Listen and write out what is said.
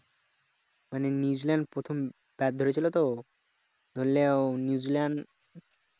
New Zealand প্রথম bat ধরেছিল তো ধরলেও নিউজিল্যান্ড